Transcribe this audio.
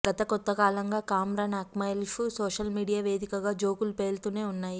గత కొంతకాలంగా కమ్రాన్ అక్మల్పై సోషల్ మీడియా వేదికగా జోకులు పేలుతూనే ఉన్నాయి